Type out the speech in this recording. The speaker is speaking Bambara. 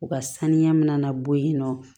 U ka saniya min na na bɔ yen nɔ